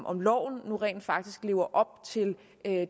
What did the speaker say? om loven rent faktisk lever op til